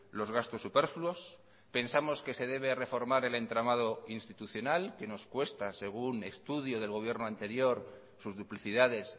los gastos superfluos pensamos que se debe reformar el entramado institucional que nos cuesta según un estudio del gobierno anterior sus duplicidades